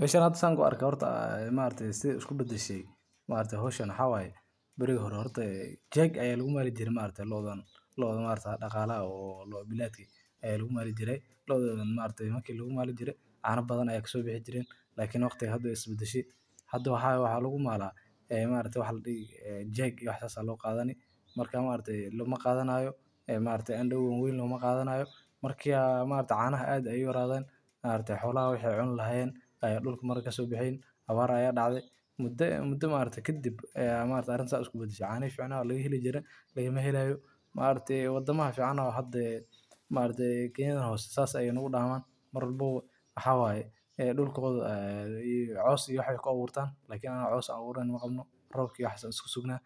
Meshan hada saan kuarka horta sida isku badashay maragtay howshan waxa waya barigi hora horta waxa lagu maalijiri Jeeg aya lagumali jiray loodan. Loodan maragtay lagumalijiray looda maragtay daqalaha maragtay lagumalijiray cana badan aya kasobaxaya lakin waqtiga hada wey isbadashay hada waxawaya waxa lagumaala e maragtay waxa ladihi jeeg iyo wax sas aya loqata marka loma qadanayo ndoo weyn lomaqada lomaqadanyo marka a maragtay canaha ad aya uyaradan xolaha waxay cuni lahayeen dulka Marka kasobaxeeynin abaar aya dacday muda maragtay kadib aya maragtay arinta sa iskubadashay canihi ficna lagaheli jiray lagamhelayo maragtay wadamaha fican e kenyadan hoosa sas nagudaman marwalbaba waxawaya dhulkoda aya cows i wax aykubuurtan cows abuurana maqabno rob iyo waxas an iskasuugna